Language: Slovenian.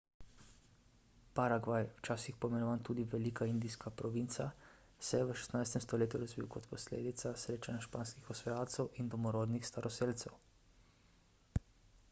paragvaj včasih poimenovan tudi velika indijska provinca se je v 16 stoletju razvil kot posledica srečanja španskih osvajalcev in domorodnih staroselcev